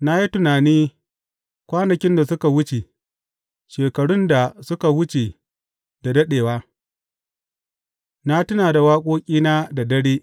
Na yi tunani kwanakin da suka wuce, shekarun da suka wuce da daɗewa; na tuna da waƙoƙina da dare.